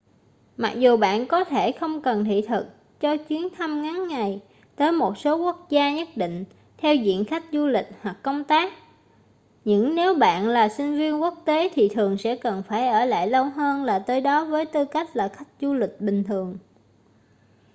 mặc dù bạn có thể không cần thị thực cho chuyến thăm ngắn ngày tới một số quốc gia nhất định theo diện khách du lịch hoặc công tác những nếu bạn là sinh viên quốc tế thì thường sẽ cần phải ở lại lâu hơn là tới đó với tư cách là khách du lịch bình thường